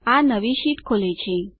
આ નવી શીટ ખોલે છે